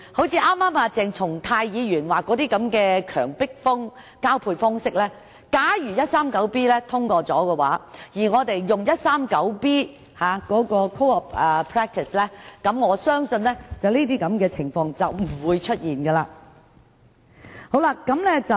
鄭松泰議員剛才提及的強迫交配，待第 139B 章生效後，我們大可引用第 139B 章的 code of practice， 我相信屆時便不會出現這些情況。